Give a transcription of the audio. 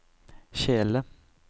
kjele